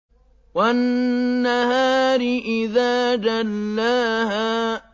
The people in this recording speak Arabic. وَالنَّهَارِ إِذَا جَلَّاهَا